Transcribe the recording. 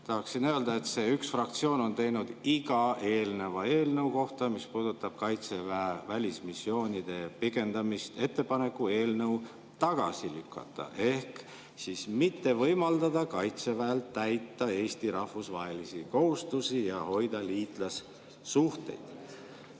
Tahaksin öelda, et see üks fraktsioon on teinud iga eelneva eelnõu kohta, mis puudutab Kaitseväe välismissioonide pikendamist, ettepaneku eelnõu tagasi lükata ehk siis mitte võimaldada Kaitseväel täita Eesti rahvusvahelisi kohustusi ja hoida liitlassuhteid.